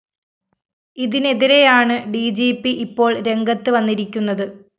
ഇതിനെതിരെയാണ് D G P ഇപ്പോള്‍ രംഗത്ത് വന്നിരിക്കുന്നത്